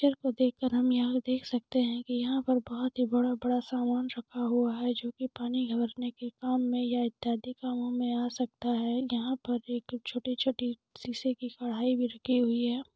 Picture को देख कर हम यहाँ देख सकते है की यहाँ पर बहुत ही बड़ा-बड़ा सामन रखा हुआ है जो की पानी भरने के काम मैं या इत्यादिक कामो मैं आ सकता है यहाँ पर एक छोटी-छोटी शीशे की कढ़ाई भी रखी हुई हैं।